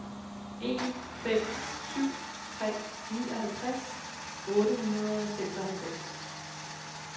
en fem syv tre nioghalvtreds otte hundrede og seksoghalvfems